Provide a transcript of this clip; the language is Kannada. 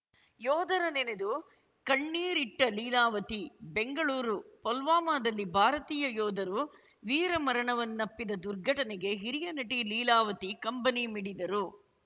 ಯೋಧರ ನೆನೆದು ಕಣ್ಣೀರಿಟ್ಟಲೀಲಾವತಿ ಬೆಂಗಳೂರು ಪುಲ್ವಾಮಾದಲ್ಲಿ ಭಾರತೀಯ ಯೋಧರು ವೀರಮರಣವನ್ನಪ್ಪಿದ ದುರ್ಘಟನೆಗೆ ಹಿರಿಯ ನಟಿ ಲೀಲಾವತಿ ಕಂಬನಿ ಮಿಡಿದರು